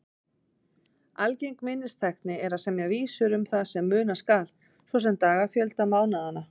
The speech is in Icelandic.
Algeng minnistækni er að semja vísur um það sem muna skal, svo sem dagafjölda mánaðanna.